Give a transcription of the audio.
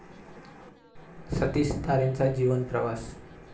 सतीश तारेंचा जीवन प्रवास